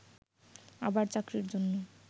আবার চাকরির জন্য